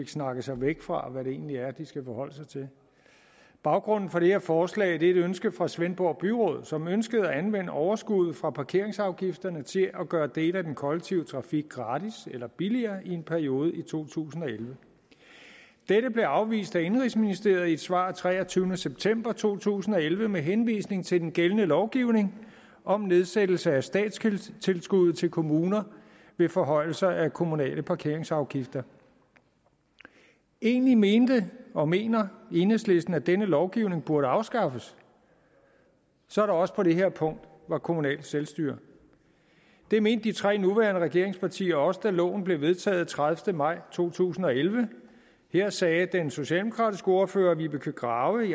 snakket sig væk fra hvad det egentlig er de skal forholde sig til baggrunden for det her forslag er et ønske fra svendborg byråd som ønskede at anvende overskuddet fra parkeringsafgifterne til at gøre dele af den kollektive trafik gratis eller billigere i en periode i to tusind og elleve dette blev afvist af indenrigsministeriet i et svar af treogtyvende september to tusind og elleve med henvisning til den gældende lovgivning om nedsættelse af statstilskuddet til kommuner ved forhøjelser af kommunale parkeringsafgifter egentlig mente og mener enhedslisten at denne lovgivning burde afskaffes så der også på det her punkt var kommunalt selvstyre det mente de tre nuværende regeringspartier også da loven blev vedtaget den tredivete maj to tusind og elleve her sagde den socialdemokratiske ordfører vibeke grave